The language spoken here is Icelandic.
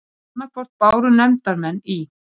Arnarneshreppi, Svalbarðsströnd og Reykjum í